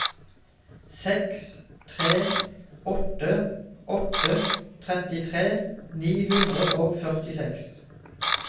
seks tre åtte åtte trettitre ni hundre og førtiseks